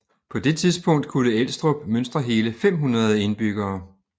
På det tidspunkt kunne Elstrup mønstre hele 500 indbyggere